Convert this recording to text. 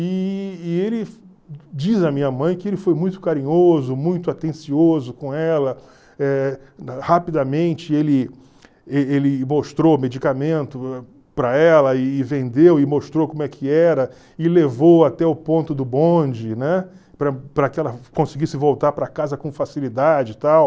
E e ele diz a minha mãe que ele foi muito carinhoso, muito atencioso com ela, eh rapidamente ele e ele mostrou medicamento para ela e vendeu e mostrou como é que era e levou até o ponto do bonde, né? Para para que ela conseguisse voltar para casa com facilidade e tal.